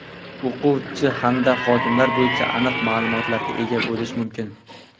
o‘quvchi hamda xodimlar bo‘yicha aniq ma’lumotlarga ega bo‘lish mumkin.